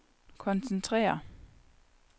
koncentrere